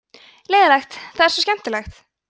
leiðinlegt það er svo skemmtilegt